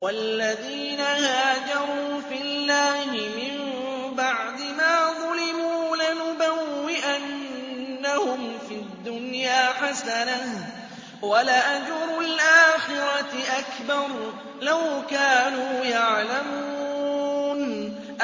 وَالَّذِينَ هَاجَرُوا فِي اللَّهِ مِن بَعْدِ مَا ظُلِمُوا لَنُبَوِّئَنَّهُمْ فِي الدُّنْيَا حَسَنَةً ۖ وَلَأَجْرُ الْآخِرَةِ أَكْبَرُ ۚ لَوْ كَانُوا يَعْلَمُونَ